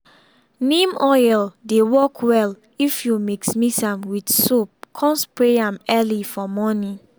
neem oil dey work well if you mix mix am with soap come spray am early for morning.